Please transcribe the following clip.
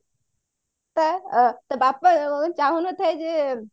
ତା ବାପା ଚାହୁଁ ନଥାଏ ଯେ